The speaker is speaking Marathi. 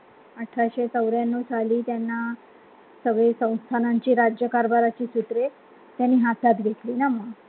अठराशे चौऱ्याण्णव साली त्यांना सगळी संस्थानांची राज्य कारभाराची सूत्रे त्यांनी हातात घेतली ना म्हणून